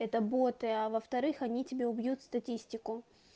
это боты а во-вторых они тебе убьют статистику